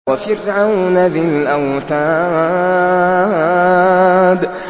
وَفِرْعَوْنَ ذِي الْأَوْتَادِ